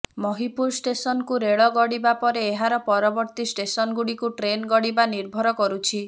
ମହିପୁର ଷ୍ଟେସନକୁ ରେଳ ଗଡ଼ିବା ପରେ ଏହାର ପରବର୍ତ୍ତୀ ଷ୍ଟେସନଗୁଡ଼ିକୁ ଟ୍ରେନ୍ ଗଡ଼ିବା ନିର୍ଭର କରୁଛି